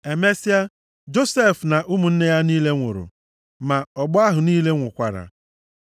Emesịa, Josef na ụmụnne ya niile nwụrụ, ma ọgbọ ahụ niile nwụkwara.